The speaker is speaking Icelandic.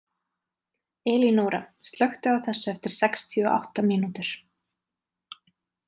Elinóra, slökktu á þessu eftir sextíu og átta mínútur.